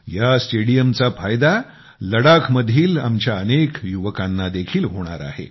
ह्या स्टेडियमच्या फायदा लडाखमधील आमच्या अनेक युवकांना देखील होणार आहे